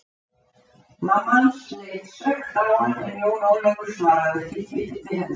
Mamma hans leit svekkt á hann en Jón Ólafur svaraði ekki tilliti hennar.